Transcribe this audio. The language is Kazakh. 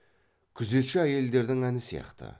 күзетші әйелдердің әні сияқты